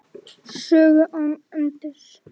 Sögu án endis.